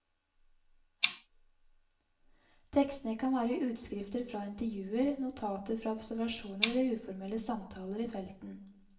Tekstene kan være utskrifter fra intervjuer, notater fra observasjoner eller uformelle samtaler i felten.